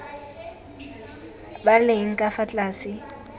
ba leng ka fa tlase